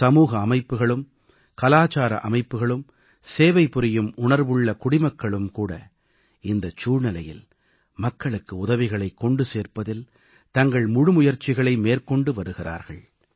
சமூக அமைப்புகளும் கலாச்சார அமைப்புகளும் சேவை புரியும் உணர்வுள்ள குடிமக்களும் கூட இந்தச் சூழ்நிலையில் மக்களுக்கு உதவிகளைக் கொண்டு சேர்ப்பதில் தங்கள் முழுமுயற்சிகளை மேற்கொண்டு வருகிறார்கள்